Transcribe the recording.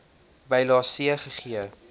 bylae c gegee